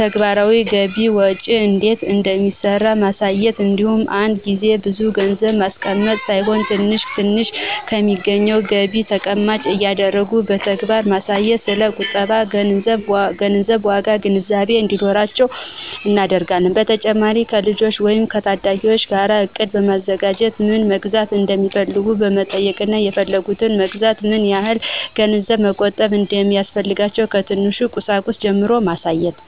ተግባራዊ ገቢ ወጪ እንዴት እንደሚሰራ ማሳየት እንዲሁም አንድ ጊዜ ብዙ ገንዘብ ማስቀመጥ ሳይሆን ትንሽ ትንሽ ከሚገኘው ገቢ ተቀማጭ እያደረጉ በተግባር በማሳየት ስለ ቁጠባና ገንዘብ ዋጋ ግንዛቤ እንዲኖራቸው እናደርጋለን። በተጨማሪም ከልጆች ወይም ከታዳጊዎች ጋር እቅድ በማዘጋጀት ምን መግዛት እንደሚፈልጉ በመጠየቅና የፈለጉትን ለመግዛት ምን ያህል ገንዘብ መቆጠብ እንደሚያስፈልግ ከትንሽ ቁሳቁስ ጀምሮ ማሳየት።